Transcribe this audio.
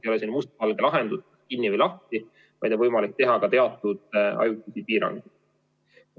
Ei ole selline mustvalge lahendus, kinni või lahti, vaid on võimalik teha ka teatud ajutisi piiranguid.